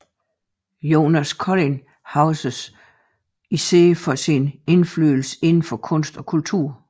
Jonas Collin huskes dog især for sin indflydelse inden for kunst og kultur